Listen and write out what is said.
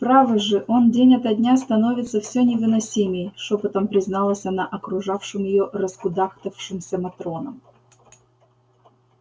право же он день ото дня становится все невыносимей шёпотом призналась она окружавшим её раскудахтавшимся матронам